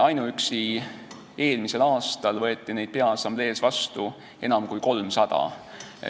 Ainuüksi eelmisel aastal võeti neid peaassamblees vastu enam kui 300.